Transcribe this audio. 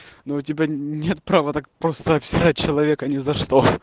но у тебя нет права так просто обсирает человека ни за что